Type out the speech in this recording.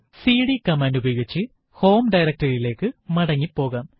CD command ഉപയോഗിച്ച് home directory യിലേക്ക് മടങ്ങി പോകാം